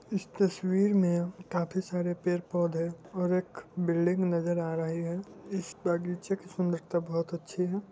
इस तस्वीर मे काफी आरे पेड़ पौधे और एक बिल्डिंग नजर आ रही है इस बगीचे के सुंदरता बहुत अच्छी है।